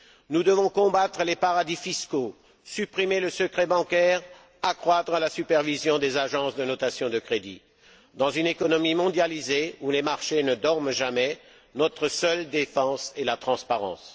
Nous devons combattre les paradis fiscaux, supprimer le secret bancaire, accroître la supervision des agences de notation de crédit. Dans une économie mondialisée, où les marchés ne dorment jamais, notre seule défense est la transparence.